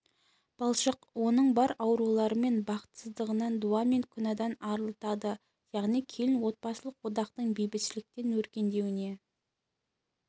балшық оның бар аурулары мен бақытсыздығынан дуа мен күнәдан арылтады яғни келін отбасылық одақтың бейбітшілікпен өркендеуіне